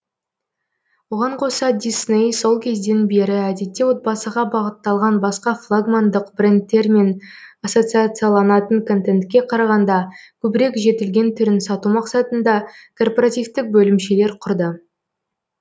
оған қоса дисней сол кезден бері әдетте отбасыға бағытталған басқа флагмандық брендтермен ассоциацияланатын контентке қарағанда көбірек жетілген түрін сату мақсатында корпоративтік бөлімшелер құрды